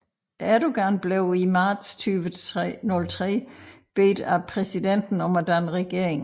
Erdoğan blev i marts 2003 bedt af præsidenten om at danne regering